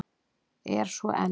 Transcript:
Er svo enn.